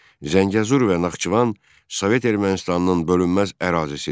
Zəngəzur və Naxçıvan Sovet Ermənistanının bölünməz ərazisidir.